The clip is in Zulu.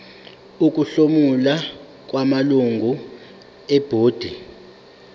ukuhlomula kwamalungu ebhodi